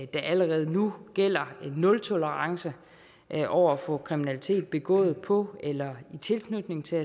der allerede nu gælder en nultolerance over for kriminalitet begået på eller i tilknytning til